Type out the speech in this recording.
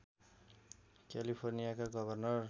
क्यालिफोर्नियाका governor